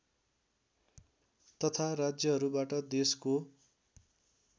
तथा राज्यहरूबाट देशको